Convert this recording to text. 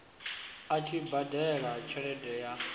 a tshi badela tshelede ya